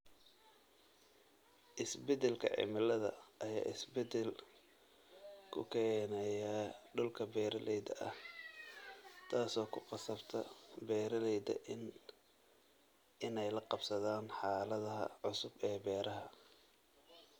Isbeddelka cimilada ayaa isbedel ku keenaya dhulka beeralayda ah, taasoo ku qasabta beeralayda inay la qabsadaan xaaladaha cusub ee beeraha.